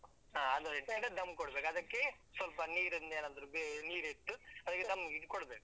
ಹಾ ಅದನ್ ಇಟ್ಟು ಈಗ ಕೊಡ್ಬೇಕು, ಅದಕ್ಕೆ ಸ್ವಲ್ಪ ನೀರಿಂದೇನಾದ್ರು ಅಹ್ ನೀರ್ ಇಟ್ಟು. dum ಇದು ಕೊಡ್ಬೇಕು.